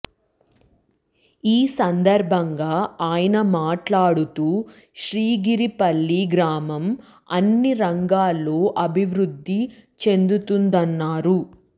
ఈ సందర్భంగా ఆయన మాట్లాడుతూ శ్రీగిరిపల్లి గ్రామం అన్ని రంగాల్లో అభివృద్ధి చెందుతుందన్నారు